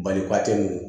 Balikɔtɛli